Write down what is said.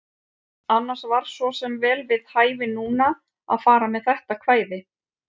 Annars var svo sem vel við hæfi núna að fara með þetta kvæði.